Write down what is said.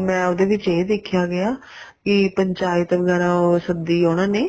ਮੈਂ ਉਹਦੇ ਵਿੱਚ ਇਹ ਦੇਖਿਆ ਗਿਆ ਕੀ ਪੰਚਾਇਤ ਵਗੈਰਾ ਉਹ ਸੱਦੀ ਉਹਨਾ ਨੇ